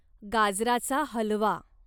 गाजराचा हलवा